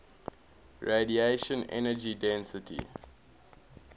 radiation energy density